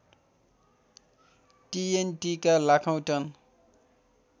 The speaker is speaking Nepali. टिएनटिका लाखौँ टन